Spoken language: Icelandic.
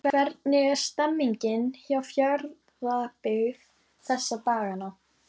Hvernig er stemningin hjá Fjarðabyggð þessa dagana?